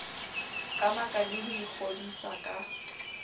qamaka le ho ikgodisa ka